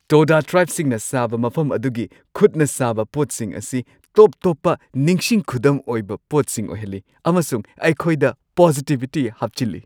ꯇꯣꯗꯥ ꯇ꯭ꯔꯥꯏꯕꯁꯤꯡꯅ ꯁꯥꯕ ꯃꯐꯝ ꯑꯗꯨꯒꯤ ꯈꯨꯠꯅ ꯁꯥꯕ ꯄꯣꯠꯁꯤꯡ ꯑꯁꯤ ꯇꯣꯞ-ꯇꯣꯞꯄ ꯅꯤꯡꯁꯤꯡ ꯈꯨꯗꯝ ꯑꯣꯏꯕ ꯄꯣꯠꯁꯤꯡ ꯑꯣꯏꯍꯜꯂꯤ ꯑꯃꯁꯨꯡ ꯑꯩꯈꯣꯏꯗ ꯄꯣꯖꯤꯇꯤꯕꯤꯇꯤ ꯍꯥꯞꯆꯤꯜꯂꯤ꯫